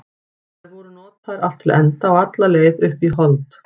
Þær voru notaðar allt til enda og alla leið upp í hold.